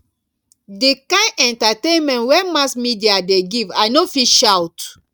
di kain entertainment wey mass media dey give i no fit shout